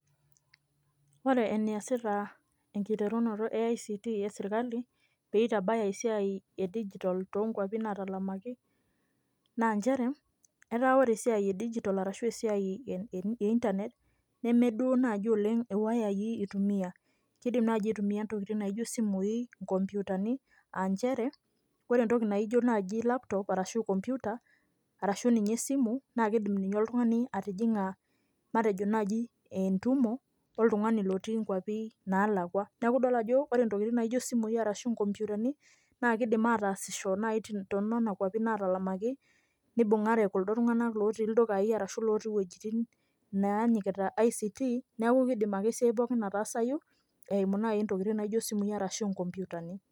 Ore eneasita enkiteruno e ict peitabaya esiai e digital too nkwapi natalamaki naa nchere etaa ore esiai e digital arashu internet nemeduo naji iwayayi itumia . Kidim naji aitumia ntokitin naijo isimui , inkomputani aa nchere ore entoki naijo laptop arashu computer arashu esimu naa kidim naji oltungani atijinga matejo naji entumo oltungani lotii nkwapi nalakwa .Niaku idol ajo ore intokitin naijo isimui ashu inkomputani naa kidim ataasisho nai tonena kwapi natalamaki nibungare kuldo tunganaka lotii ildukai ashu lotii iwuejitin naanyikita ict niaku kidim ake esiai pookin ataasayu eimu nai ntokitin naijo isimui ashu inkomputani.